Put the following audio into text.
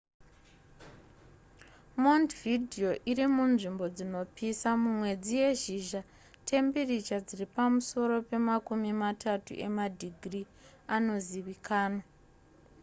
montevideo irimunzvimbo dzinopisa mumwedzi yezhizha tembiricha dziri pamusoro pemakumi matatu emadhigiri anozivikanwa